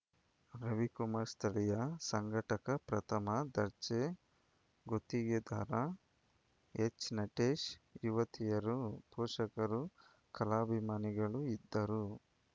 ರವಿಕುಮಾರ್‌ ಸ್ಥಳೀಯ ಸಂಘಟಕ ಪ್ರಥಮ ದರ್ಜೆ ಗುತ್ತಿಗೆದಾರ ಎಚ್‌ನಟೇಶ್‌ ಯುವತಿಯರು ಪೋಷಕರು ಕಲಾಭಿಮಾನಿಗಳು ಇದ್ದರು